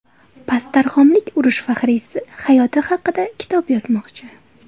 Pastdarg‘omlik urush faxriysi hayoti haqida kitob yozmoqchi.